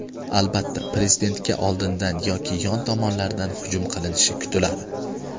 Albatta prezidentga oldindan yoki yon tomonlardan hujum qilinishi kutiladi.